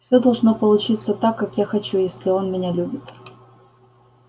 все должно получиться так как я хочу если он меня любит